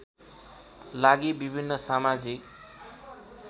लागि विभिन्न समाजिक